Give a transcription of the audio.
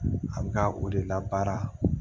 A bɛ ka o de la baara